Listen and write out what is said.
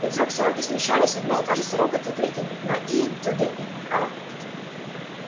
и вдруг сороки смешались одна и та же сорока то крикнет на и то крикнет на а